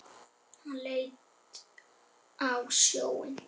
Hann leit út á sjóinn.